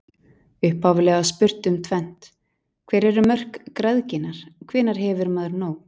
Upphaflega var spurt um tvennt: Hver eru mörk græðginnar, hvenær hefur maður nóg?